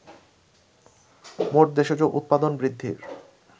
মোট দেশজ উতপাদন বৃদ্ধির